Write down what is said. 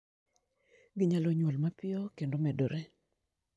Ginyalo nyuol mapiyo kendo medore.